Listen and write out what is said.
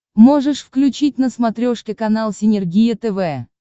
можешь включить на смотрешке канал синергия тв